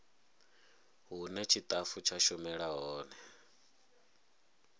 hune tshitafu tsha shumela hone